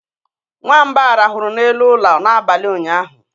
nwamba rahụrụ n'elu ụlọ n'abalị ụnyaahụ